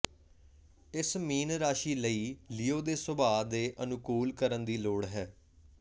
ਇਸ ਮੀਨ ਰਾਸ਼ੀ ਲਈ ਲੀਓ ਦੇ ਸੁਭਾਅ ਦੇ ਅਨੁਕੂਲ ਕਰਨ ਦੀ ਲੋੜ ਹੈ